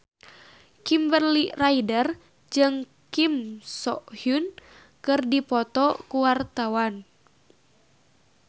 Kimberly Ryder jeung Kim So Hyun keur dipoto ku wartawan